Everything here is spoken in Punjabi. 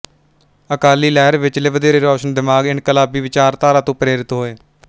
ਅਕਾਲੀ ਲਹਿਰ ਵਿਚਲੇ ਵਧੇਰੇ ਰੋਸ਼ਨ ਦਿਮਾਗ ਇਨਕਲਾਬੀ ਵਿਚਾਰਧਾਰਾ ਤੋਂ ਪ੍ਰੇਰਿਤ ਹੋਏ